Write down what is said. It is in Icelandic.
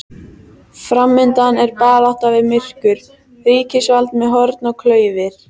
Framundan er barátta við myrkur, ríkisvald með horn og klaufir.